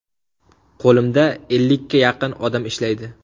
Qo‘limda ellikka yaqin odam ishlaydi.